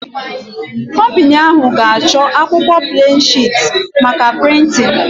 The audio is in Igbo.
Kọmpini ahụ ga-achọ akwụkwọ pleen shịt maka prịntịn